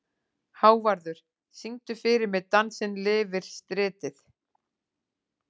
Hávarður, syngdu fyrir mig „Dansinn lifir stritið“.